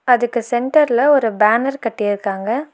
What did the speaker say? அதுக்கு சென்டர்ல ஒரு பேனர் கட்டி இருக்காங்க.